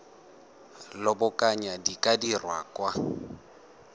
lobakanyana di ka dirwa kwa